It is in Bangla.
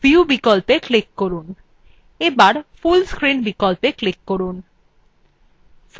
menu bar view বিকল্পে click করুন bar full screen বিকল্পে click করুন